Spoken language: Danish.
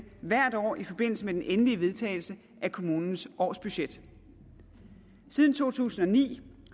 hvert år i forbindelse med den endelige vedtagelse af kommunens årsbudget siden to tusind og ni